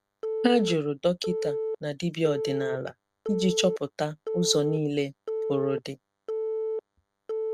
Hà jụrụ dọkịta na dibịa ọdinala iji chọpụta ụzọ nile pụrụ di.